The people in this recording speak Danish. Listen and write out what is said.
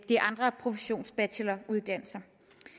de andre professionsbacheloruddannelser